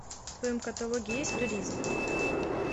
в твоем каталоге есть туризм